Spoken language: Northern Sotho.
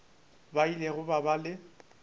ba ile ba ba le